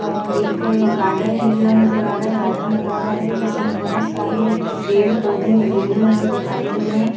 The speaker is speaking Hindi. अ एक गार्डन एरिया नजर आ रहा है गार्डन बना हुआ है जिसमे बहुत सारे पेड़ पौधे लगे हुए हमे दिखाई दे रहे है।